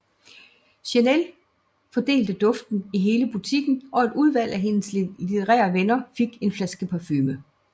Chanel fordelte duften i hele butikken og et udvalg af hendes elitære venner fik en flaske parfume